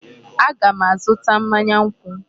Aga m azụta mmanya nkwụ.